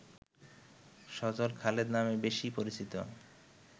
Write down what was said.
সজল খালেদ নামে বেশি পরিচিত